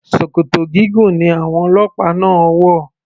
Ṣòkòtò gígùn ni àwọn ọlọ́pàá náà wò.